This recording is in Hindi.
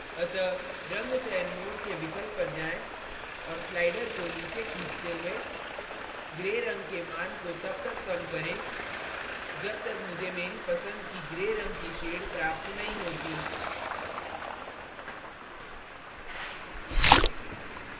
अतः रंग चयन mode के विकल्प पर जाएँ और slider को नीचे खींचते हुए gray रंग के मान को तब तक कम करें जब तक मुझे मेरी पसंद की gray रंग की shade प्राप्त नहीं होती